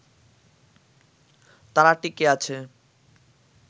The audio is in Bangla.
তারা টিঁকে আছে